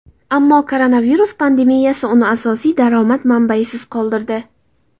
Ammo koronavirus pandemiyasi uni asosiy daromad manbayisiz qoldirdi.